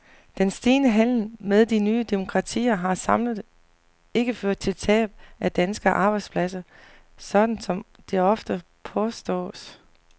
Den stigende handel med de nye demokratier har samlet ikke ført til tab af danske arbejdspladser, sådan som det ofte påstås.